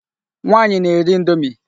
Nwaanyị na-eri indomi.